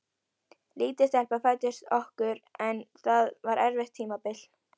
Lítil stelpa fæddist okkur en það var erfitt tímabil.